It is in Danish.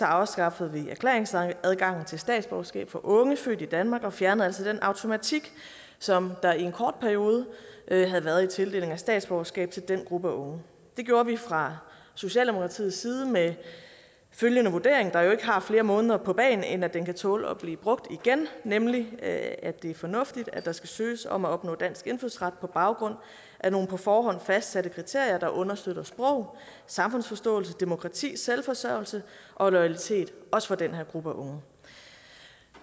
afskaffede vi erklæringsadgangen til statsborgerskab for unge født i danmark og fjernede altså den automatik som der i en kort periode havde været i tildelingen af statsborgerskab til den gruppe af unge det gjorde vi fra socialdemokratiets side med følgende vurdering der jo ikke har flere måneder på bagen end at den kan tåle at blive brugt igen nemlig at det er fornuftigt at der skal søges om at opnå dansk indfødsret på baggrund af nogle på forhånd fastsatte kriterier der understøtter sprog samfundsforståelse demokrati selvforsørgelse og loyalitet også for den her gruppe af unge